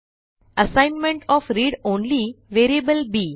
assignment of read only variable B